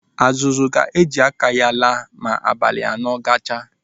Azụzụ ga-eji aka laa ma abalị anọ gachaa.